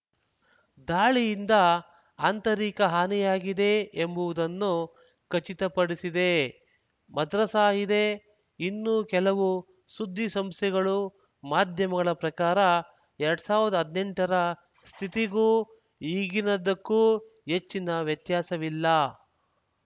ದಾಳಿಯಿಂದ ಆಂತರಿಕ ಹಾನಿಯಾಗಿದೆ ಎಂಬುವುದನ್ನು ಖಚಿತಪಡಿಸಿದೆ ಮದ್ರಸಾ ಇದೆ ಇನ್ನು ಕೆಲವು ಸುದ್ದಿಸಂಸ್ಥೆಗಳು ಮಾಧ್ಯಮಗಳ ಪ್ರಕಾರ ಎರಡ್ ಸಾವಿರ್ದಾ ಹದ್ನೆಂಟರ ಸ್ಥಿತಿಗೂ ಈಗಿನದ್ದಕ್ಕೂ ಹೆಚ್ಚಿನ ವ್ಯತ್ಯಾಸವಿಲ್ಲ